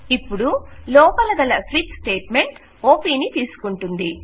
ఇప్పుడు లోపల గల స్విచ్ స్టేట్ మెంట్ ఓపి నితీసుకుంటుంది